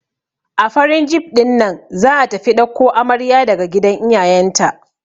A farin jif ɗinnan za'a tafi ɗauko amarya daga gidan iyayen ta.